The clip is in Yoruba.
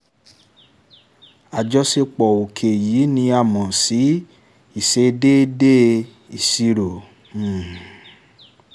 àjọṣepọ̀ òkè yìí ni a mọ̀ sí 'ìṣedéédé ìṣirò'. um